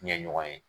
Ɲɛ ɲɔgɔn ye